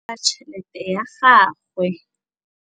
a tšheletê ya gagwe.